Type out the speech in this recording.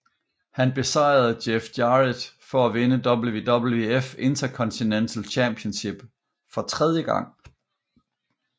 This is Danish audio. Han besejrede Jeff Jarrett for at vinde WWF Intercontinental Championship for tredje gang